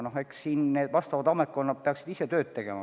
Eks siin peavad need ametkonnad ise tööd tegema.